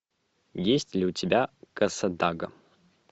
есть ли у тебя кассадага